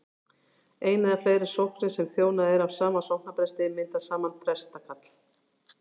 ein eða fleiri sóknir sem þjónað er af sama sóknarpresti mynda saman prestakall